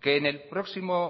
que en el próximo